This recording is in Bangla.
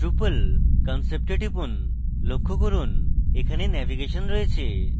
drupal concept we টিপুন লক্ষ্য করুন এখানে navigation রয়েছে